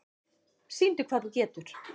Sýndu hvað þú getur!